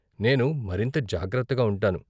నేను మరింత జాగ్రత్తగా ఉంటాను.